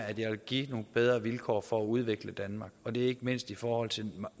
at jeg vil give nogle bedre vilkår for at udvikle danmark og det er ikke mindst i forhold til de